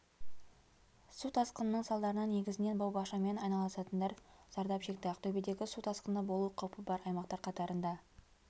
су тасқынының салдарынан негізінен бау-бақшамен айналысатындар зардап шекті ақтөбедегі су тасқыны болу қаупі бар аймақтар қатарында